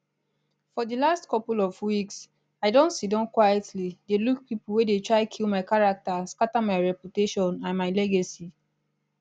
for di last couple of weeks i don siddon quietly dey look pipo wey dey try kill my character scata my reputation and my legacy